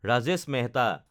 Rajesh Mehta